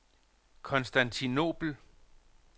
Konstantinobel